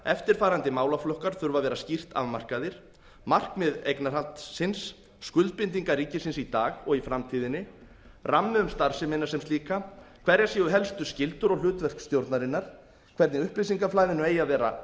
eftirfarandi málaflokkar þurfa að vera skýrt afmarkaðir markmið eignarhaldsins skuldbindingar ríkisins í dag og í framtíðinni rammi um starfsemina sem slíka hverjar séu helstu skyldur og hlutverk stjórnarinnar hvernig upplýsingaflæðinu eigi að vera